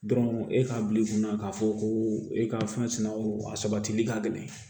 Dɔrɔn e k'a bila i kunna k'a fɔ ko e ka fɛnw a sabatili ka gɛlɛn